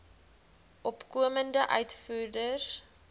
opkomende uitvoerders